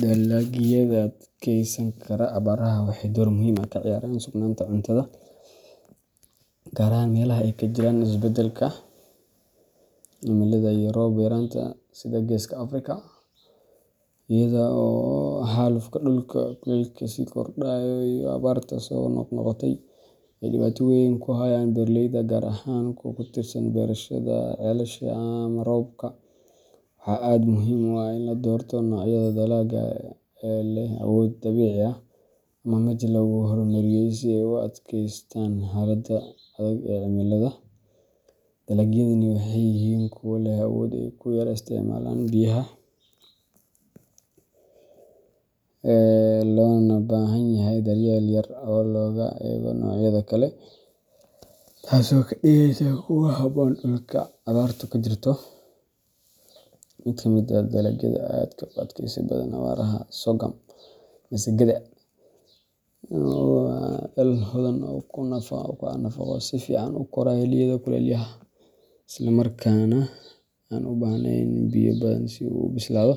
Dalagyada adkeysan kara abaaraha waxay door muhiim ah ka ciyaaraan sugnaanta cuntada, gaar ahaan meelaha ay ka jiraan isbeddelka cimilada iyo roob yaraanta sida Geeska Afrika. Iyada oo xaalufka dhulka, kuleylka sii kordhaya, iyo abaarta soo noqnoqota ay dhibaato weyn ku hayaan beeraleyda, gaar ahaan kuwa ku tiirsan beerashada ceelasha ama roobka, waxaa aad muhiim u ah in la doorto noocyada dalagga ee leh awood dabiici ah ama mid lagu horumariyey si ay u adkeystaan xaaladaha adag ee cimilada. Dalagyadani waxay yihiin kuwa leh awood ay ku yara isticmaalaan biyaha, loona baahan yahay daryeel yar marka loo eego noocyada kale, taasoo ka dhigeysa kuwo ku habboon dhulka abaartu ka jirto. Mid ka mid ah dalagyada aadka ugu adkaysi badan abaaraha waa sorghum masagada. Waa dal hodan ku ah nafaqo, si fiican u kora xilliyada kulaylaha, islamarkaana aan u baahnayn biyo badan si uu u bislaado.